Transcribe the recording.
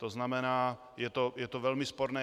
To znamená, je to velmi sporné.